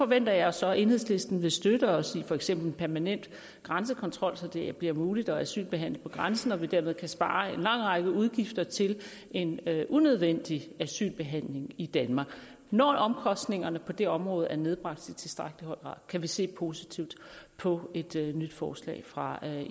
venter jeg så at enhedslisten vil støtte os med for eksempel en permanent grænsekontrol så det bliver muligt at asylbehandle på grænsen og så vi dermed kan spare en lang række udgifter til en unødvendig asylbehandling i danmark når omkostningerne på det område er nedbragt tilstrækkeligt kan vi se positivt på et nyt forslag fra